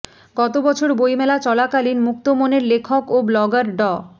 গত বছর বইমেলা চলাকালীন মুক্তমনের লেখক ও ব্লগার ড